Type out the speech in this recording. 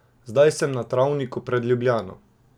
Zdaj sem na travniku pred Ljubljano.